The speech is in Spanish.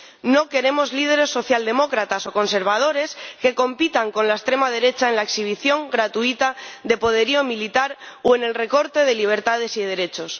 No queremos líderes socialdemócratas o conservadores que compitan con la extrema derecha en la exhibición gratuita de poderío militar o en el recorte de libertades y derechos.